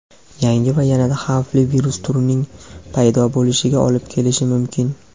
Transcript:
yangi va yanada xavfli virus turining paydo bo‘lishiga olib kelishi mumkin.